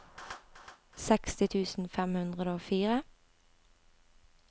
seksti tusen fem hundre og fire